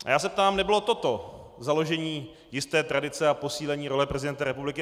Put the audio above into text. A já se ptám: Nebylo toto založení jisté tradice a posílení role prezidenta republiky?